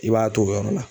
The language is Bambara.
I b'a to o yɔrɔ la